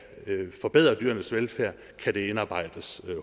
forbedre dyrenes velfærd kan det indarbejdes